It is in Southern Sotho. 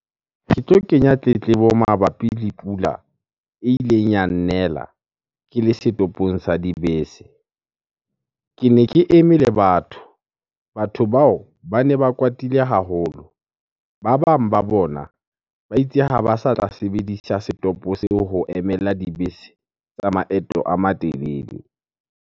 Ke tlo kenya tletlebo mabapi le pula e ileng ya nnela ke le setopong sa dibese. Kene ke eme le batho, batho bao bane ba kwatile haholo. Ba bang ba bona ba itse ha ba sa tla sebedisa setopo seo ho emela dibese tsa maeto a matelele.